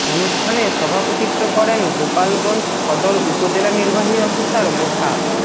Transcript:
অনুষ্ঠানে সভাপতিত্ব করেন গোপালগঞ্জ সদর উপজেলা নির্বাহী অফিসার মোছা